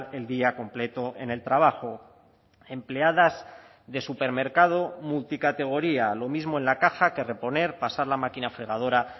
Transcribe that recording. el día completo en el trabajo empleadas de supermercado multicategoría lo mismo en la caja que reponer pasar la máquina fregadora